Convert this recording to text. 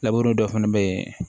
Laburu dɔ fana bɛ ye